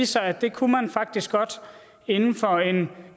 sig at det kunne man faktisk godt inden for en